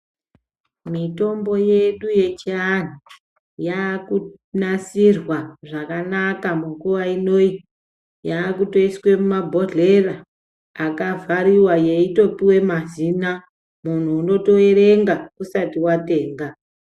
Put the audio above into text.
Mitombo yedu yechianhu ,yakunasirwa zvakanaka munguwa inoyi, yakutoyiswa mumabhodhlera akavhariwa yeitopuwa mazina, munhu unotoerenga usati watenga.